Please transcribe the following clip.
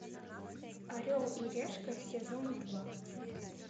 орел и решка сезон два